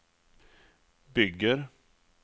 bygger